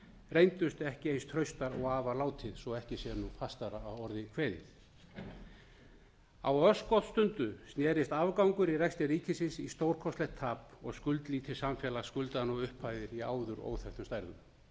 reyndust ekki eins traustar og af var látið svo ekki sé nú fastara að orðið kveðið á örskotsstundu snerist afgangur í rekstri ríkisins í stórkostlegt tap og skuldlítið samfélag skuldar nú upphæðir í áður óþekktum stærðum